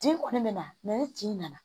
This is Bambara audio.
Den kɔni bɛ na ni tin nana